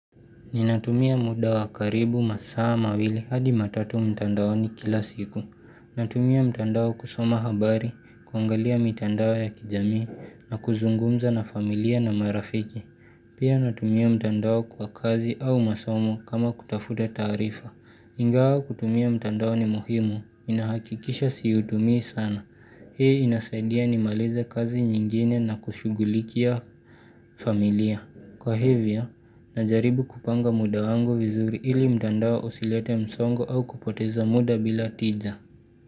Ninatumia mda wa karibu masaa mawili hadi matatu mtandaoni kila siku. Natumia mtandao kusoma habari, kuangalia mitandao ya kijami, na kuzungumza na familia na marafiki. Pia natumia mtandao kwa kazi au masomo kama kutafuta taarifa. Ingawa kutumia mtandao ni muhimu, inahakikisha siutumi sana. Hii inasaidia nimalize kazi nyingine na kushugulikia familia. Kwa hivyo, najaribu kupanga muda wangu vizuri ili mtandao usilete msongo au kupoteza mda bila tija.